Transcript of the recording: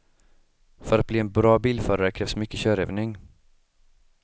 För att bli en bra bilförare krävs mycket körövning.